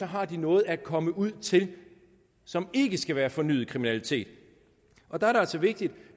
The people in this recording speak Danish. har noget at komme ud til som ikke skal være fornyet kriminalitet og der er det altså vigtigt